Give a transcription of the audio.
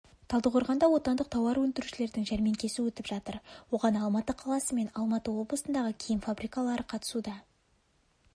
талдықорғанда отандық тауар өндірушілердің жәрмеңкесі өтіп жатыр оған алматы қаласы мен алматы облысындағы киім фабрикалары қатысуда